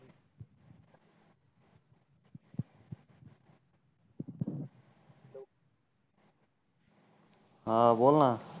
हा बोल ना